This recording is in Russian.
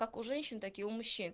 как у женщин так и у мужчин